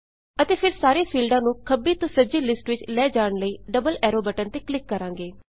ਅਤੇ ਫੇਰ ਸਾਰੇ ਫੀਲਡਾਂ ਨੂੰ ਖੱਬੀ ਤੋਂ ਸੱਜੀ ਲਿਸਟ ਵਿੱਚ ਲੈ ਜਾਣ ਲਈ ਡਬਲ ਐਰੋ ਬਟਨ ਤੇ ਕਲਿੱਕ ਕਰਾਂਗੇ